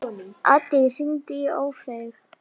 Addý, hringdu í Ófeig.